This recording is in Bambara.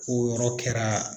O yɔrɔ kɛra